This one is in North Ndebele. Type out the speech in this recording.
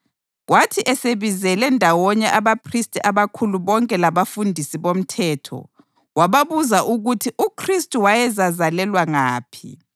Kwathi esebizele ndawonye abaphristi abakhulu bonke labafundisi bomthetho, wababuza ukuthi uKhristu wayezazalelwa ngaphi.